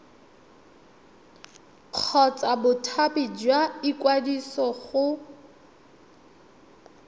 kgotsa bothati jwa ikwadiso go